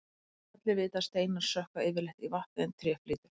allir vita að steinar sökkva yfirleitt í vatni en tré flýtur